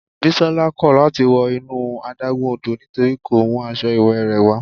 Bisola kò láti wọ inú adágún odò nítorí kò mú aṣọ ìwẹ̀ rẹ̀ wá.